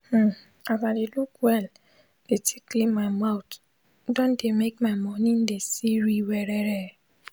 hmmn as i de look well de take clean my teeth don de make my mornin de sirir werere